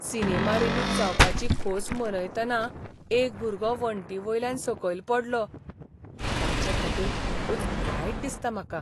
Cinema release जावपाची खोस मनयतना एक भुरगो वणटीवयल्यान सकयल पडलो. ताचेखातीर खूबच वायट दिसता म्हाका.